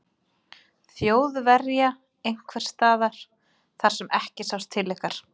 Þjóðverja einhvers staðar þar sem ekki sást til ykkar?